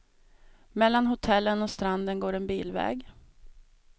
Mellan hotellen och stranden går en bilväg.